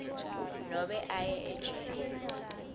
nobe aye ejele